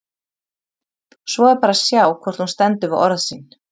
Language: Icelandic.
Svo er bara að sjá hvort hún stendur við orð sín!